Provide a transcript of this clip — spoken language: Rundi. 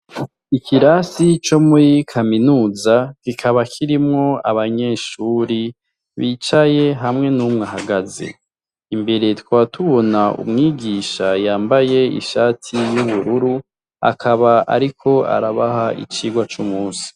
Ikirasi co muri kaminuza kikaba kirimwo abanyeshure bicaye hamwe n'umwe ahagaze, imbere tukaba tubona umwigisha yambaye ishati y'ubururu, akaba ariko arabaha icirwa c'umunsi.